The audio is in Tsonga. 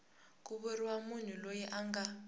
ku vuriwa munhu loyi anga